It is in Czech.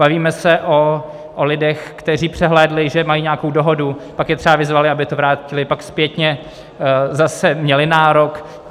Bavíme se o lidech, kteří přehlédli, že mají nějakou dohodu, pak je třeba vyzvali, aby to vrátili, pak zpětně zase měli nárok